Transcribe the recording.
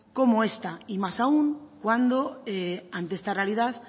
como esta y más aún cuando ante esta realidad